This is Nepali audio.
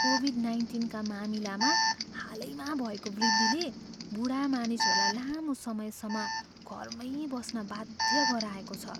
कोभिड नाइन्टिनका मामिलामा हालैमा भएको वृद्धिले बुढा मानिसहरूलाई लामो समयसम्म घरमै बस्न बाध्य गराएको छ।